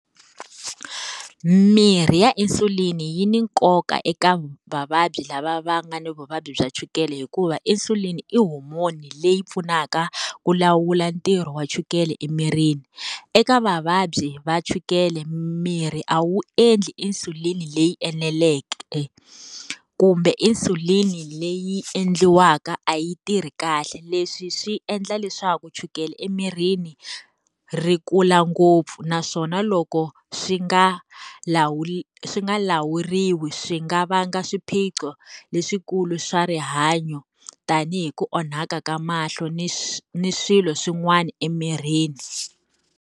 Mirhi ya insulin yi ni nkoka eka vavabyi lava va nga ni vuvabyi bya chukele hikuva insulin-i i homoni leyi pfunaka ku lawula ntirho wa chukele emirini. Eka vavabyi va chukele mirhi a wu endli insulin leyi eneleke, kumbe insulin-i leyi endliwaka a yi tirhi kahle. Leswi swi endla leswaku chukele emirini ri kula ngopfu. Naswona loko swi nga lawuriwi swi nga va nga swiphiqo leswikulu swa rihanyo, tanihi ku onhaka ka mahlo ni ni swilo swin'wana emirini.